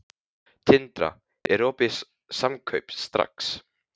Tindra, er opið í Samkaup Strax?